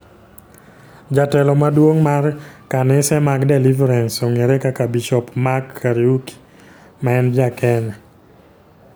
Jatelo maduong' mar kanise mag Deliverance ong'ere kaka Bisop Mark Kariuki ma en Ja-Kenya.